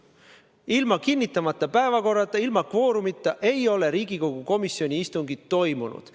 Ilma kinnitamata päevakorrata, ilma kvoorumita ei ole Riigikogu komisjoni istungid toimunud.